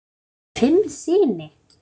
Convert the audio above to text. Eiga þau fimm syni.